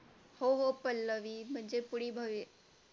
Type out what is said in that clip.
हो हो पल्लवी म्हणजे पुढील भावी